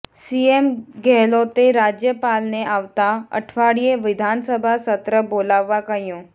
CM ગેહલોતે રાજ્યપાલને આવતા અઠવાડિયે વિધાનસભા સત્ર બોલાવવા કહ્યું